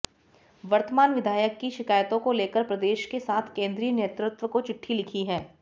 वर्तमान विधायक की शिकायतों को लेकर प्रदेश के साथ केंद्रीय नेतृत्व को चिट्ठी लिखी है